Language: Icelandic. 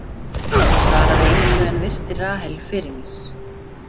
Ég svaraði engu en virti Rahel fyrir mér.